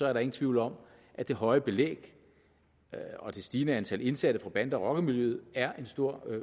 er der ingen tvivl om at det høje belæg og det stigende antal indsatte fra bande og rockermiljøet er en stor